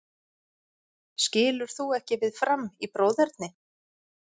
Skilur þú ekki við Fram í bróðerni?